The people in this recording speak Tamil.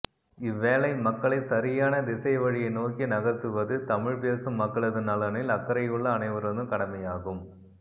இவ்வேளை மக்களை சரியான திசைவழியை நோக்கி நகர்த்துவது தமிப்பேசும் மக்களது நலனில் அக்கறையுள்ள அனைவரதும் கடமையாகும்